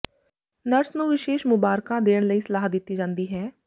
nurse ਨੂੰ ਵਿਸ਼ੇਸ਼ ਮੁਬਾਰਕਾਂ ਦੇਣ ਲਈ ਸਲਾਹ ਦਿੱਤੀ ਜਾਂਦੀ ਹੈ